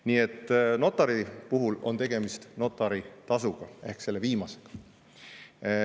Nii et notari puhul on tegemist notaritasuga ehk selle viimasega.